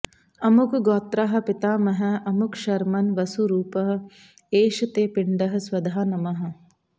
अमुकगोत्राः पितामहः अमुकशर्मन् वसुरूप एष ते पिण्डः स्वधा नमः